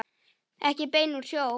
Ekki bein úr sjó.